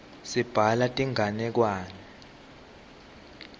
sibhala tinganekwane